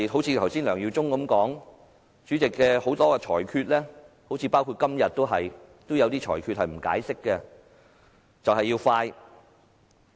正如梁耀忠議員剛才所說，主席作出的很多裁決，包括今天也有些裁決也不作解釋，就是要快。